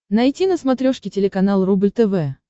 найти на смотрешке телеканал рубль тв